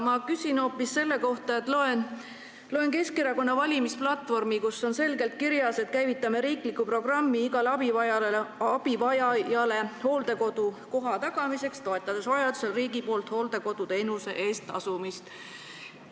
Ma küsin hoopis selle kohta, et ma lugesin Keskerakonna valimisplatvormi, kus on selgelt kirjas: käivitame riikliku programmi igale abivajajale hooldekodukoha tagamiseks, toetades vajadusel riigi poolt hooldekoduteenuse eest tasumist.